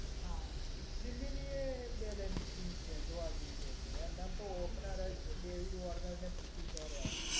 હા, દિલ્હીની balance team છે જોવા જઈએ તો એમના તો ઓપનર જ ડેવિડ વોર્નર અને પૃથ્વી શોર્ય.